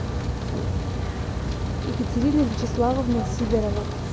екатерина вячеславовна сидорова